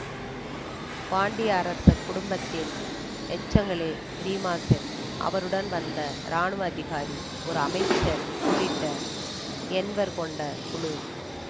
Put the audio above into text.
பாண்டிய அரச குடும்பத்தின் எச்சங்களே ரீமாசென் அவருடன் வந்த இராணுவ அதிகாரி ஒரு அமைச்சர் உள்ளிட்ட எண்வர் கொண்ட குழு